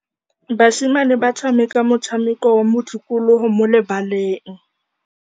Basimane ba tshameka motshameko wa modikologô mo lebaleng.